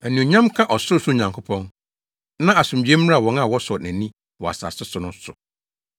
“Anuonyam nka Ɔsorosoro Nyankopɔn, na asomdwoe mmra wɔn a wɔsɔ nʼani wɔ asase so no so.”